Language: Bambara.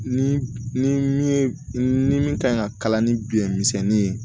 Ni ni min ye ni min kan ka kalan ni biɲɛ misɛnni ye